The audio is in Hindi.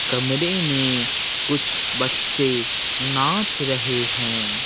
कमरे में कुछ बच्चे नाच रहे हैं।